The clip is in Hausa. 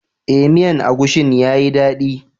Eh, miyan agushin ya yi dadi.